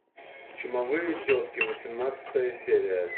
чумовые тетки восемнадцатая серия